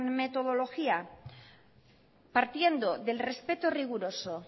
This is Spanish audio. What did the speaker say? metodología partiendo del respeto riguroso